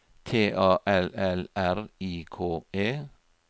T A L L R I K E